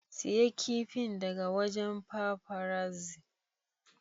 Siya kifin daga wajen paparazzi.